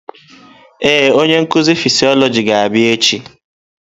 Ee, onye nkuzi fịsiolojị ga-abịa echi.